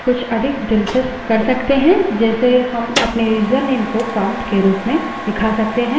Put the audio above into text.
हम कुछ अधिक दिलचस्प कर सकते हैं जैसे हम अपने यूजरनेम को prompt के रूप में दिखा सकते हैं